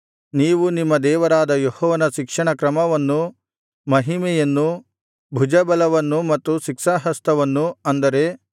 ನೀವು ನಿಮ್ಮ ದೇವರಾದ ಯೆಹೋವನ ಶಿಕ್ಷಣ ಕ್ರಮವನ್ನೂ ಮಹಿಮೆಯನ್ನೂ ಭುಜಬಲವನ್ನೂ ಮತ್ತು ಶಿಕ್ಷಾಹಸ್ತವನ್ನೂ ಅಂದರೆ